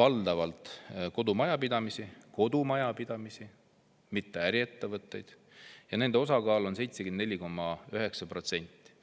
valdavalt kodumajapidamisi – kodumajapidamisi, mitte äriettevõtteid – ja nende osakaal on 74,9%.